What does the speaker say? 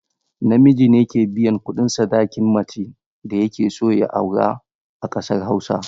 Namiji ne ke biyan kuɗin sadakin macen da yake so ya aura a ƙasar hausa.